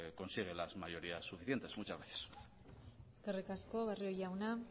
consiguen las mayorías suficientes muchas gracias eskerrik asko barrio jauna